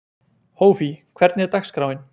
Hófí, hvernig er dagskráin?